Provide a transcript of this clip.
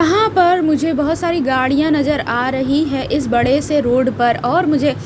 यहाँ पर मुझे बहुत सारी गाड़ियाँ नजर आ रही है इस बड़े से रोड पर और मुझे --